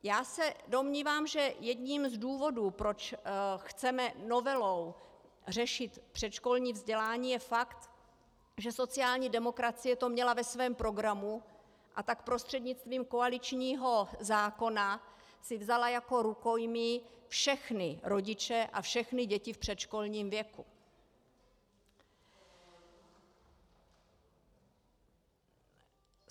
Já se domnívám, že jedním z důvodů, proč chceme novelou řešit předškolní vzdělání, je fakt, že sociální demokracie to měla ve svém programu, a tak prostřednictvím koaličního zákona si vzala jako rukojmí všechny rodiče a všechny děti v předškolním věku.